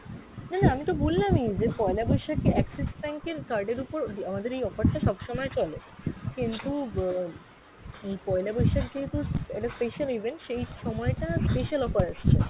না না আমি তো বললাম ই যে পয়লা বৈশাখে Axis bank এর card এর উপর আমাদের এই offer টা সবসময় চলে, কিন্তু আহ এই পয়লা বৈশাখ যেহেতু একটা special event সেই সময় টা special offer আসছে।